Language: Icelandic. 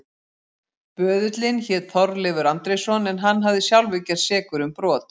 Böðullinn hét Þorleifur Andrésson en hann hafði sjálfur gerst sekur um brot.